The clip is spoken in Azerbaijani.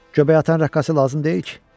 Göbəyi atan rəqqası lazım deyil ki?